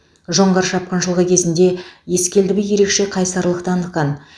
жоңғар шапқыншылығы кезінде ескелді би ерекше қайсарлық танытқан